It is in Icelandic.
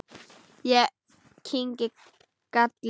Ég kyngi galli.